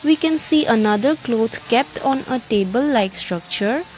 we can see another cloths kept on a table like structure.